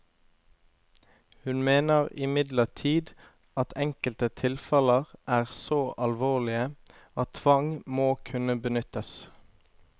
Hun mener imidlertid at enkelte tilfeller er så alvorlige, at tvang må kunne benyttes.